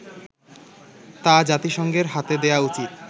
তা জাতিসংঘের হাতে দেয়া উচিৎ